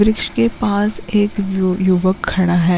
वृक्ष के पास एक यु-युवक खड़ा है।